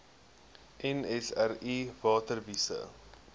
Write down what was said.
nsri water wise